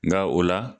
Nka o la